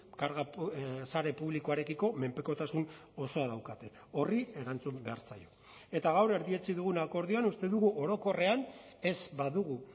karga sare publikoarekiko menpekotasun osoa daukate horri erantzun behar zaio eta gaur erdietsi dugun akordioan uste dugu orokorrean ez badugu